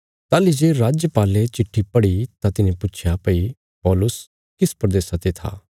ताहली जे राजपाले चिट्ठी पढ़ी तां तिने पुच्छया भई पौलुस किस प्रदेशा ते था ताहली जे तिने सिख्या भई सै किलिकिया ते था